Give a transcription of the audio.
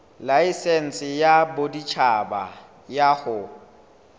laesense ya boditjhaba ya ho